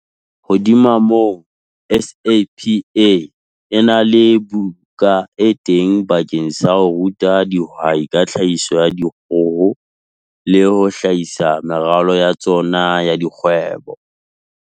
Hodima moo, SAPA e na le buka e teng bakeng sa ho ruta dihwai ka tlhahiso ya dikgoho le ho hlahisa meralo ya tsona ya dikgwebo.